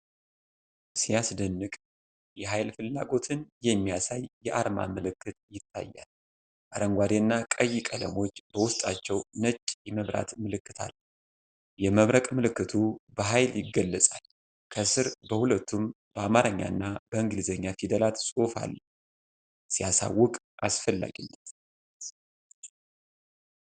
ሲያስደንቅ! የኃይል ፍላጎትን የሚያሳይ የአርማ ምልክት ይታያል። አረንጓዴና ቀይ ቀለሞች በውስጣቸው ነጭ የመብረቅ ምልክት አለ። የመብረቅ ምልክቱ በኃይል ይገለጻል። ከስር በሁለቱም በአማርኛና በእንግሊዚኛ ፊደላት ጽሑፍ አለ። ሲያሳውቅ! አስፈላጊነት!